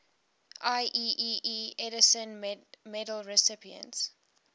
ieee edison medal recipients